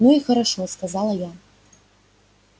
ну и хорошо сказала я